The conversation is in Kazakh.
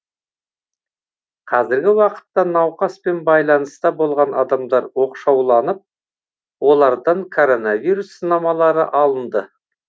қазіргі уақытта науқаспен байланыста болған адамдар оқшауланып олардан коронавирус сынамалары алынды